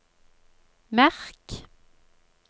merk